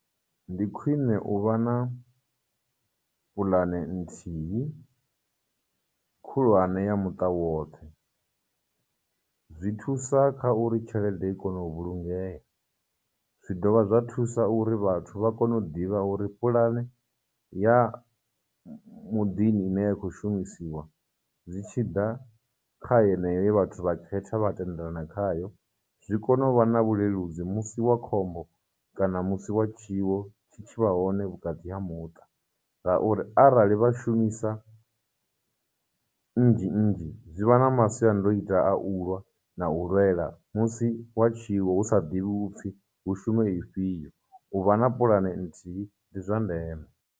Ndi khwine u vha na puḽane nthihi khulwane ya muṱa woṱhe, zwi thusa kha uri tshelede i kone u vhulungeya. Zwi dovha zwa thusa uri vhathu vha kone u ḓivha uri pulane ya muḓini ine ya khou shumisiwa zwi tshiḓa kha heneyo ye vhathu vha i khetha, vha tendelana khayo, zwi kone u vha na vhuleludzi musi wa khombo kana musi wa tshiwo tshi tshi vha hone vhukati ha muṱa, ngauri arali vha shumisa nnzhi nnzhi. Zwi vha na masiandoitwa a u lwa na u lwela musi wa tshiwo hu sa ḓivhiwi upfhi hu shume ifhio, u vha na pulane nthihi ndi zwa ndeme.